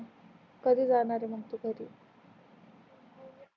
कधी जाणार मग तू घर